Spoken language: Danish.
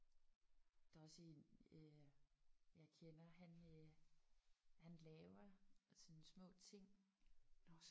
Der er også en øh jeg kender han øh han laver sådan små ting